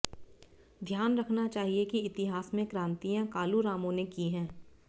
ध्यान रखना चाहिए कि इतिहास में क्रांतियाँ कालूरामों ने की हैं